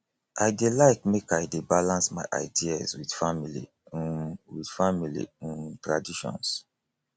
i dey like make i dey balance my ideas with family um with family um traditions